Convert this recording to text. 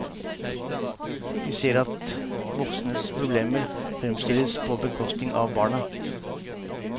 Vi ser at voksnes problemer fremstilles på bekostning av barna.